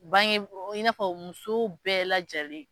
Bange in n'a fɔ muso bɛɛ lajɛlen.